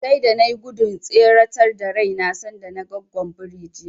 Sai da na nai gudun tseretar da raina sanda naga Goggon birin jiya.